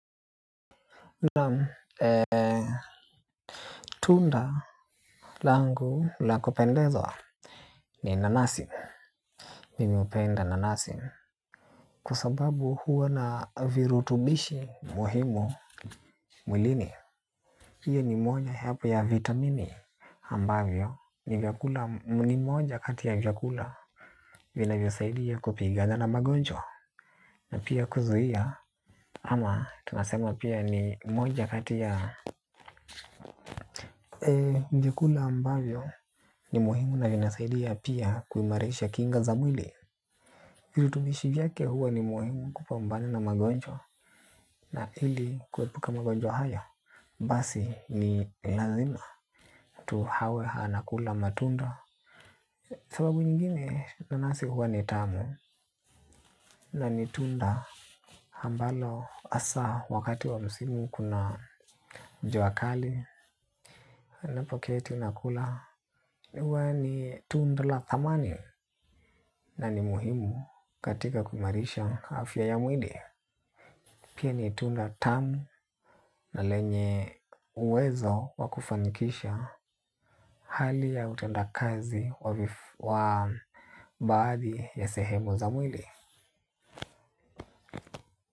Naam, tunda langu la kupendezwa ni nanasi. Mimi hupenda nanasi kwa sababu huwa na virutubishi muhimu mwilini hiyo ni moja ya hapo ya vitamini ambavyo ni moja katia gyakula vinavyo saidia kupigana na magonjwa. Na pia kuzuia ama tunasema pia ni moja kati ya njikula ambayo ni muhimu na inasaidia pia kuimarisha kinga za mwili. Kirutubishi vyake huwa ni muhimu kupambana na magonjwa. Na ili kuepuka magonjwa haya basi ni lazima tu hawe anakula matunda. Sababu nyingine nanasi huwa ni tamu. Na ni tunda ambalo hasa wakati wa msimu kuna jua kali. Ninapo keti nakula huwa ni tundla la thamani na ni muhimu katika kuimarisha afya ya mwili. Pia ni tunda tamu na lenye uwezo wa kufanikisha hali ya utenda kazi wa baadhi ya sehemu za mwili.